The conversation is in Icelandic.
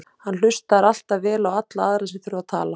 Hann hlustar alltaf vel á alla aðra sem þurfa að tala.